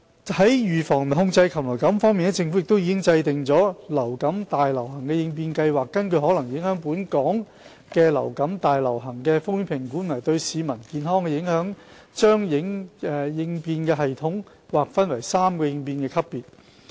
在預防及控制禽流感方面，政府已制訂《流感大流行應變計劃》，根據可能影響本港的流感大流行的風險評估和對市民健康的影響，把應變系統劃分為3個應變級別。